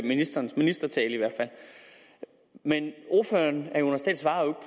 ministerens ministertale men ordføreren svarer